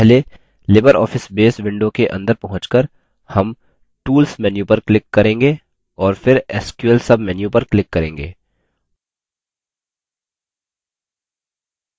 पहले libreoffice base window के अंदर पहुँचकर हम tools menu पर click करेंगे और फिर sql submenu पर click करेंगे